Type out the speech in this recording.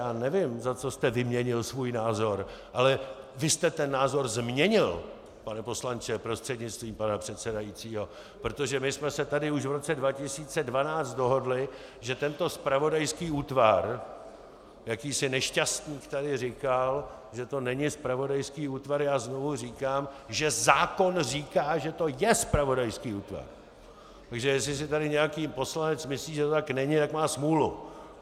Já nevím, za co jste vyměnil svůj názor, ale vy jste ten názor změnil, pane poslanče prostřednictvím pana předsedajícího, protože my jsme se tady už v roce 2012 dohodli, že tento zpravodajský útvar - jakýsi nešťastník tady říkal, že to není zpravodajský útvar, já znovu říkám, že zákon říká, že to je zpravodajský útvar, takže jestli si tady nějaký poslanec myslí, že to tak není, tak má smůlu.